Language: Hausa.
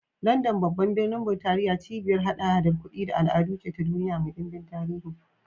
London, babban birnin Burtaniya, cibiyar haɗa-haɗar kudi da al'adu ce ta duniya mai ɗimbin tarihi.